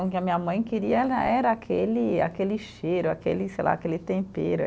O que a minha mãe queria ela era aquele, aquele cheiro, aquele, sei lá, aquele tempero.